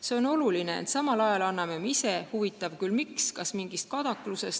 See on oluline, ent samal ajal anname ise – huvitav küll, miks, kas mingist kadaklusest?